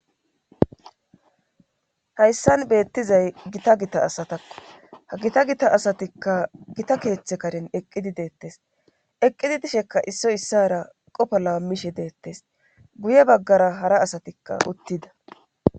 Hayssan beettizay gita gita asatakko ha gita gita asatikka gita keeththe karen eqqidi deettes eqqidi dishekka issoy issara qopo laammishe deettes guye baggara hara asatikka uttida